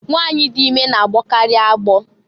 Nwanyị dị ime na- agbọkarị agbọ.